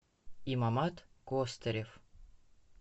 имамат костырев